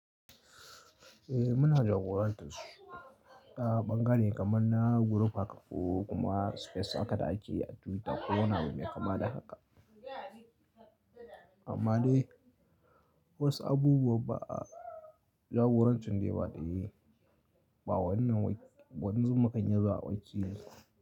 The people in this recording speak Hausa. Eh muna jagorantar su ta ɓangare kamar na guruf haka ƙo kuma space haka da ake yi a Twitter ko wani abu mai kama da haka. Amma dai wasu abubuwan ba a jagoranci su ne ba ɗaya, ba wannan waɗansu makanya za a wajena.